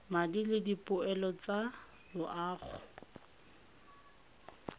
madi le dipoelo tsa loago